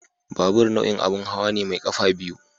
Babur nau'in abin hawa ne mai kafa biyu.